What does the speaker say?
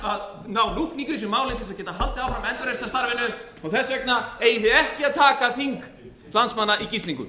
að ná lúkningu í þessu máli til að geta haldið áfram endurreisnarstarfinu og þess vegna eigum við ekki að taka þing starfsmanna í gíslingu